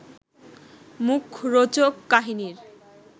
মুখরোচক কাহিনীর